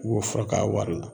I b'o fura k'a wari la